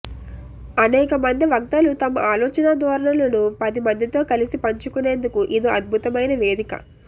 అనేకమంది వక్తలు తమ ఆలోచనా ధోరణులను పది మందితో కలసి పంచుకునేందుకు ఇదో అద్భుతమైన వేదిక